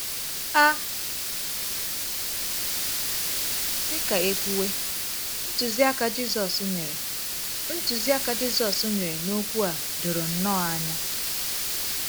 A sị ka e kwuwe, ntụziaka Jizọs nyere ntụziaka Jizọs nyere n’okwu a doro nnọọ anya.